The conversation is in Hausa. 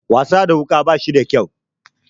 Wasa da wuka bashi da kyau.